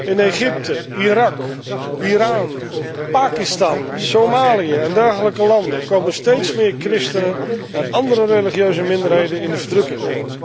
In Egypte, Irak, Iran, Pakistan, Somalië en dergelijke landen komen steeds meer christenen en andere religieuze minderheden in de verdrukking.